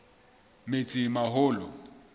metsimaholo